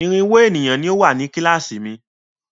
Irínwó ènìyàn ni ó wà ní kíláàsì mi.